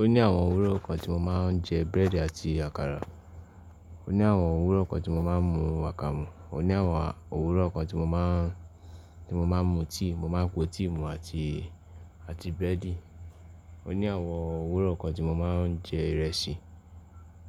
Ó ní àwọn òwúrọ̀ kan tí mo máa ń jẹ brẹ́adì àti àkàrà. Ó ní àwọn òwúrọ̀ kan tí mo máa ń mu akamu. Ó ní àwọn òwúrọ̀ kan tí mo má ń, tí mo má ń mu tea, mo máa ń po tea mu àti, àti brẹ́adì. Ó ní àwọn òwúrọ̀ kan tí mo máa ń jẹ ìrẹsì.